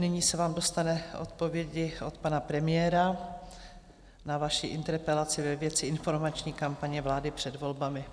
Nyní se vám dostane odpovědi od pana premiéra na vaši interpelaci ve věci informační kampaně vlády před volbami.